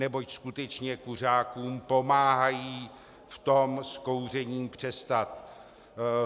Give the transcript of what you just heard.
Neboť skutečně kuřákům pomáhají v tom s kouřením přestat.